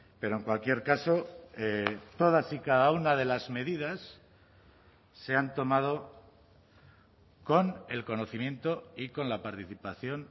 pero en cualquier caso todas y cada una de las medidas se han tomado con el conocimiento y con la participación